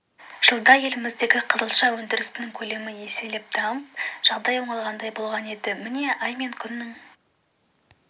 жылда еліміздегі қызылша өндірісінің көлемі еселеп дамып жағдай оңалғандай болған енді міне ай мен күннің